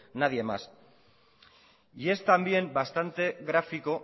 nadie más y es también bastante gráfico